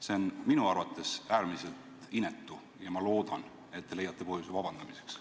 See on minu arvates äärmiselt inetu ja ma loodan, et te leiate põhjuse vabandamiseks.